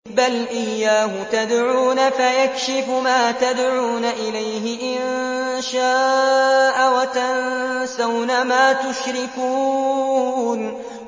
بَلْ إِيَّاهُ تَدْعُونَ فَيَكْشِفُ مَا تَدْعُونَ إِلَيْهِ إِن شَاءَ وَتَنسَوْنَ مَا تُشْرِكُونَ